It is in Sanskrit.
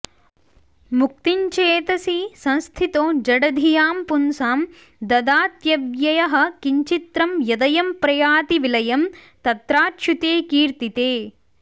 मुक्तिञ्चेतसि संस्थितो जडधियां पुंसां ददात्यव्ययः किञ्चित्रं यदयं प्रयाति विलयं तत्राच्युते कीर्तिते